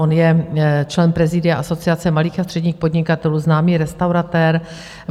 On je člen prezidia Asociace malých a středních podnikatelů, známý restauratér.